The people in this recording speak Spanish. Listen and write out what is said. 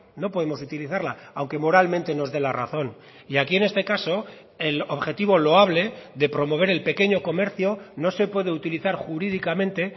no podemos utilizarla aunque moralmente nos dé la razón y aquí en este caso el objetivo loable de promover el pequeño comercio no se puede utilizar jurídicamente